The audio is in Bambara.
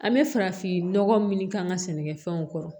An bɛ farafinnɔgɔ minnu k'an ka sɛnɛkɛfɛnw kɔrɔ